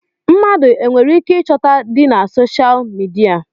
Mmadụ e nwereike ịchọta di na soshal midia?